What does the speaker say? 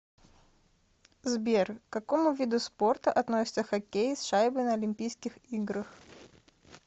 сбер к какому виду спорта относится хоккей с шайбой на олимпийских играх